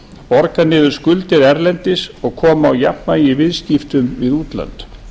borga niður skuldir erlendis og koma á jafnvægi í viðskiptum við útlönd